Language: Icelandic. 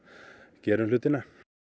gerum hlutina